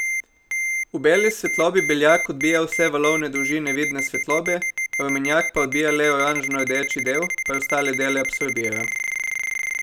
V beli svetlobi beljak odbija vse valovne dolžine vidne svetlobe, rumenjak pa odbija le oranžnordeči del, preostale dele absorbira.